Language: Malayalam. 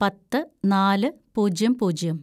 പത്ത് നാല് പൂജ്യം പൂജ്യം